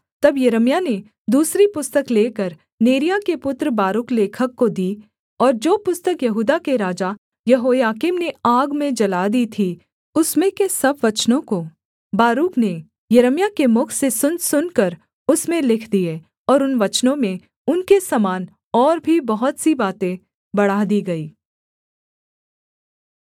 तब यिर्मयाह ने दूसरी पुस्तक लेकर नेरिय्याह के पुत्र बारूक लेखक को दी और जो पुस्तक यहूदा के राजा यहोयाकीम ने आग में जला दी थी उसमें के सब वचनों को बारूक ने यिर्मयाह के मुख से सुन सुनकर उसमें लिख दिए और उन वचनों में उनके समान और भी बहुत सी बातें बढ़ा दी गई